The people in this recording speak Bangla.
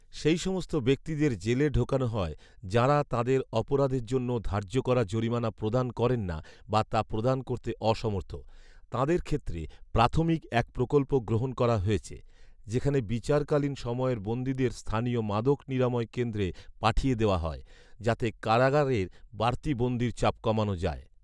সেই সমস্ত ব্যক্তিদের জেলে ঢোকানো হয়, যাঁরা তাঁদের অপরাধের জন্য ধার্য করা জরিমানা প্রদান করেন না বা তা প্রদান করতে অসমর্থ। তাঁদের ক্ষেত্রে প্রাথমিক এক প্রকল্প গ্রহণ করা হয়েছে, যেখানে বিচারকালীন সময়ের বন্দীদের স্থানীয় মাদক নিরাময় কেন্দ্রে পাঠিয়ে দেওয়া হয়, যাতে কারগারের বাড়তি বন্দীর চাপ কমানো যায়